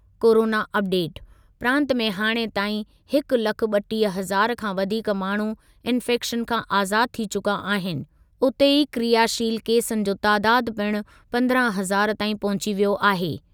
Corona update, प्रांत में हाणे ताईं हिकु लख ॿटीह हज़ार खां वधीक माण्हू इंफैक्शन खां आज़ादु थी चुका आहिनि, उते ई क्रियाशील केसनि जो तादादु पिणु पंद्रहं हज़ार ताईं पहुची वियो आहे।